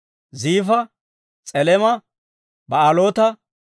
Ziifa, S'elema, Ba'aaloota,